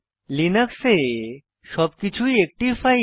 লিনাক্সে সবকিছুই একটি ফাইল